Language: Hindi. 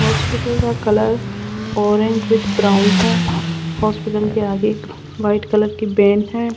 हॉस्पिटल का कलर ऑरेंज विथ ब्राउन है हॉस्पिटल के आगे एक व्हाइट कलर की वैन है।